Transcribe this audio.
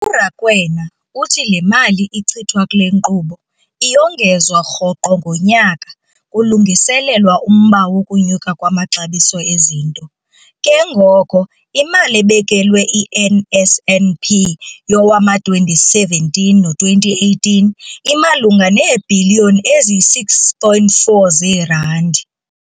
URakwena uthi le mali ichithwa kule nkqubo iyongezwa rhoqo ngonyaka kulungiselelwa umba wokunyuka kwamaxabiso ezinto, ke ngoko imali ebekelwe i-NSNP yowama-2017 no2018 imalunga neebhiliyoni eziyi-6.4 zeerandi.